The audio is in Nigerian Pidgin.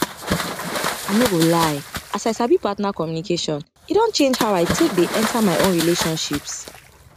i no go lie as i sabi partner communication e don change how i take dey enter my own relationships